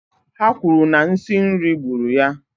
Ha kwuru na nsi nri gburu ya